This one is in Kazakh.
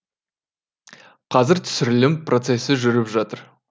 қазір түсірілім процесі жүріп жатыр